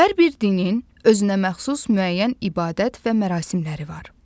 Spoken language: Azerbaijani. Hər bir dinin özünəməxsus müəyyən ibadət və mərasimləri var.